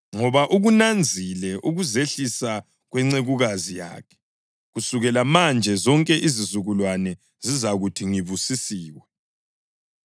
ngoba ukunanzile ukuzehlisa kwencekukazi yakhe. Kusukela manje zonke izizukulwane zizakuthi ngibusisiwe,